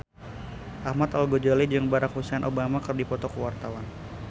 Ahmad Al-Ghazali jeung Barack Hussein Obama keur dipoto ku wartawan